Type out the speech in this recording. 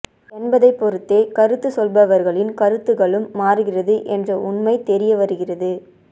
என்பதை பொருத்தே கருத்து சொல்பவர்களின் கருத்துக்களும் மாறுகிறது என்ற உண்மை தெரியவருகிறது